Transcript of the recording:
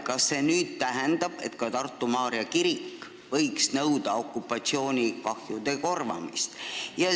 Kas see tähendab, et ka Tartu Maarja kirik võiks nõuda okupatsioonikahjude korvamist?